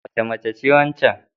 Wace mace ce waccan?